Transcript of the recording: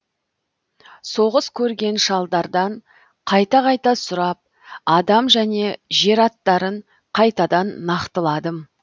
соғыс көрген шалдардан қайта қайта сұрап адам және жер аттарын қайтадан нақтыладым